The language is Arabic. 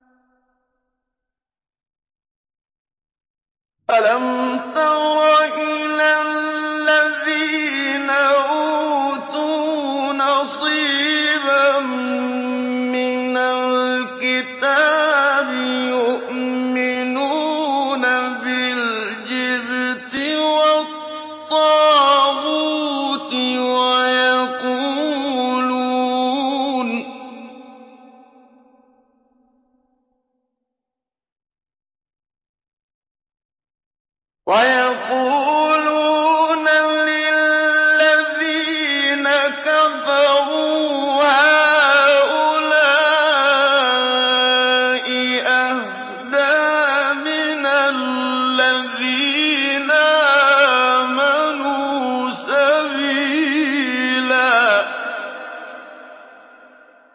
أَلَمْ تَرَ إِلَى الَّذِينَ أُوتُوا نَصِيبًا مِّنَ الْكِتَابِ يُؤْمِنُونَ بِالْجِبْتِ وَالطَّاغُوتِ وَيَقُولُونَ لِلَّذِينَ كَفَرُوا هَٰؤُلَاءِ أَهْدَىٰ مِنَ الَّذِينَ آمَنُوا سَبِيلًا